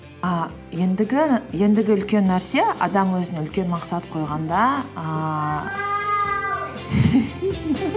і ендігі үлкен нәрсе адам өзіне үлкен мақсат қойғанда ііі